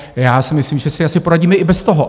Já si myslím, že si asi poradíme i bez toho.